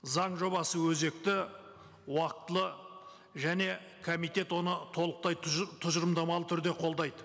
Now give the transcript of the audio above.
заң жобасы өзекті уақытылы және комитет оны толықтай тұжырымдамалы түрде қолдайды